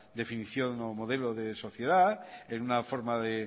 definición o modelo de sociedad en una forma de